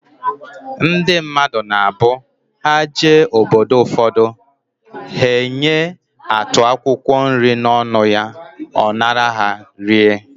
Ndị mmadụ na abụ, ha jee obodo ụfọdụ, he enye atụ akwụkwọ nri n'ọnụ ya, ọ nara ha, rie